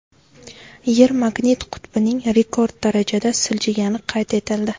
Yer magnit qutbining rekord darajada siljigani qayd etildi.